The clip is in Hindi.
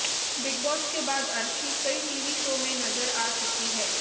बिग बॉस के बाद अर्शी कई टीवी शो में नजर आ चुकी हैं